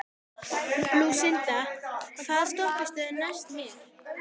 Lúsinda, hvaða stoppistöð er næst mér?